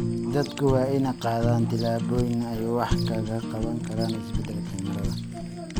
Dadku waa inay qaadaan tillaabooyin ay wax kaga qabanayaan isbeddelka cimilada.